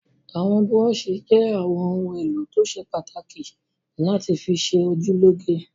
Àwọn búrọ́ṣì jẹ́ àwọn ohun-èlò tó ṣe pàtàkì láti fi ṣe ojú lóge.